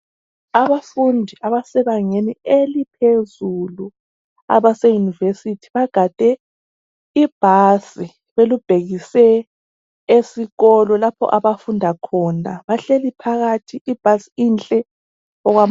Abafundi abasebangeni eliphezulu abase university bagade ibhasi belubhekise esikolo lapho abafunda khona bahleli phakathi ibhasi inhle okwamagama.